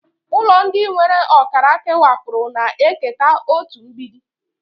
Ụlọ ndị nwere ọkara kewapụrụ na-eketa otu mgbidi.